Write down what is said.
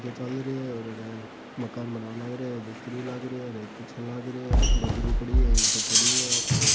और अठे मकान बनावं लागरिया है मिस्‍त्री लाग रिया है और एक पीछे लाग रिया है बजरी पड़ी है इटे पड़ी है और--